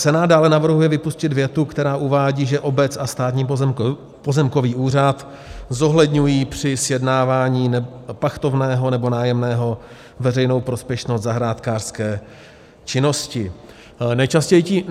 Senát dále navrhuje vypustit větu, která uvádí, že obec a Státní pozemkový úřad zohledňují při sjednávání pachtovného nebo nájemného veřejnou prospěšnost zahrádkářské činnosti.